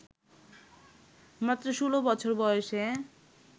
মাত্র ষোলো বছর বয়সে